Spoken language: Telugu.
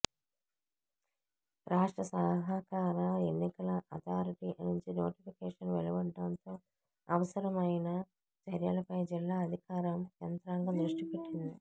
రాష్ట్ర సహకార ఎన్నికల ఆథారిటి నుంచి నోటిఫికేషన్ వెలువడడంతో అవసరమైన చర్యలపై జిల్లా అధికార యం త్రాంగం దృష్టి పెట్టింది